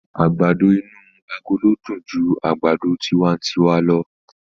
Àgbàdo inú agolo dùn ju àgbàdo tiwantiwa lọ.